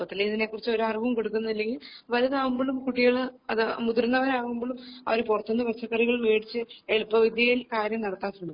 ചെറുപ്പത്തിലേ ഇതിനെക്കുറിച്ച് ഒരു അറിവും കൊടുക്കുന്നില്ലേ വലുതാവുമ്പോളും കുട്ടികള് മുതിർന്നവരാവുമ്പോളും അവര് പുറത്തുനിന്നും വേടിച്ച് പച്ചക്കറികൾ വേടിച്ച് എളുപ്പ വിദ്യയിൽ കാര്യം നടത്താൻ ശ്രമിക്കും